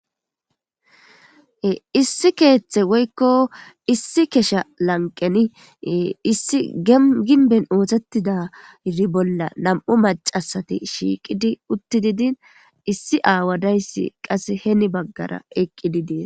Issi keeththe woykko issi kesha lanqeni issi eginben oothettida i bolla nam'u macasati shiiqidi utti didin issi aawadayssi qase heni baggara eqqidi dees.